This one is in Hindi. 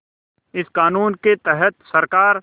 इस क़ानून के तहत सरकार